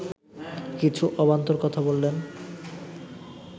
কিছু অবান্তর কথা বললেন